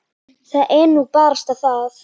Það er nú barasta það.